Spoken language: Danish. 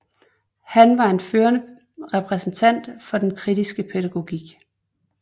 Han var en førende repræsentant for den kritiske pædagogik